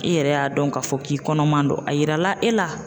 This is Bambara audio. I yɛrɛ y'a dɔn k'a fɔ k'i kɔnɔman don .A yirala e la